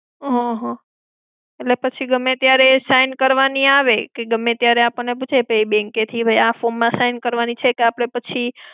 હમ્મ હમ્મ. એટલે પછી ગમ્મે ત્યારે એ sign કરવાની આવે, કે ગમ્મે ત્યારે એ આપણને પૂછે કે bank કેટલી વાર આ form માં sign કરવાની છે કે પછી,